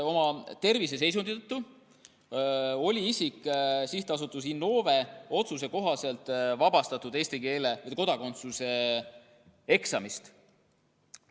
Oma terviseseisundi tõttu oli see isik SA Innove otsuse kohaselt vabastatud eesti keele ja kodakondsuse eksamist.